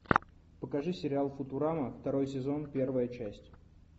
покажи сериал футурама второй сезон первая часть